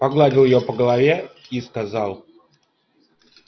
погладил её по голове и сказал